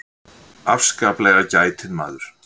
Afskaplega gætinn maður.